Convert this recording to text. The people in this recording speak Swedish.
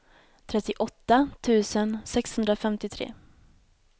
trettioåtta tusen sexhundrafemtiotre